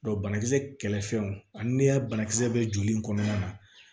banakisɛ kɛlɛfɛnw ani banakisɛ bɛ joli in kɔnɔna na